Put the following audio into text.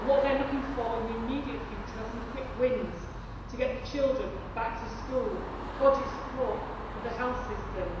What they are looking for in the immediate future are some quick wins to get the children back to school and budget support for the health systems.